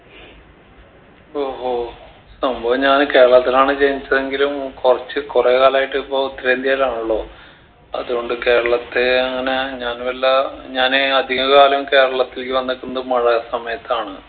ഓഹോ സംഭവം ഞാന് കേരളത്തിലാണ് ജനിച്ചതെങ്കിലും കൊർച്ച് കൊറേ കാലായിട്ടിപ്പോ ഉത്തരേന്ത്യയിലാണല്ലോ അതുകൊണ്ട് കേരളത്തെ അങ്ങനെ ഞാൻ വല്ലാ ഞാന് അധിക കാലം കേരളത്തിലേക്ക് വന്നിട്ടുണ്ട് മഴ സമയത്താണ്